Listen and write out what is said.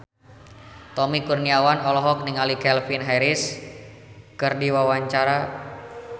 Tommy Kurniawan olohok ningali Calvin Harris keur diwawancara